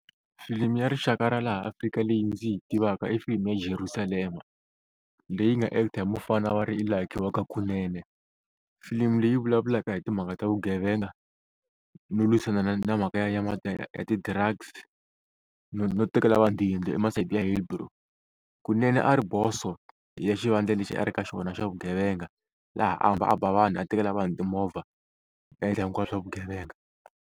Filimi ya rixaka ra laha Afrika leyi ndzi yi tivaka i filimu ya Jerusalema leyi nga act-a hi mufana va ri i Lucky wa ka Kunene, filimi leyi vulavulaka hi timhaka ta vugevenga no lwisana na mhaka ya ya ti-drugs no no tekela vanhu tiyindlu i masayiti ya Hilbrow, Kunene a ri boso ya xivandla lexi a ri ka xona xa vugevenga laha a hamba a ba vanhu a tekela vanhu timovha a endla hinkwaswo swa vugevenga.